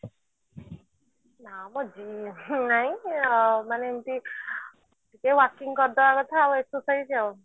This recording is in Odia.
ନା ମ gym ନାଇଁ ହଁ ମାନେ ଏମତି ନିଜେ working କରି ଦବା କଥା ଆଉ exercise ଆଉ